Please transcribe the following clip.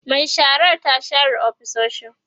Mai sharar ta share ofisoshin